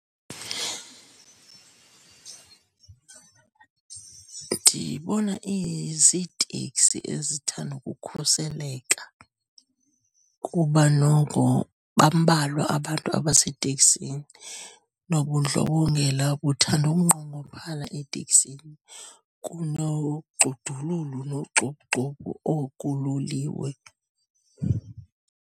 Ndiyibona iziteksi ezithanda ukukhuseleka kuba noko bambalwa abantu abaseteksini, nobundlobongela buthanda ukunqongophala eteksini kunogxudululu nogxuphugxuphu okulolilwe.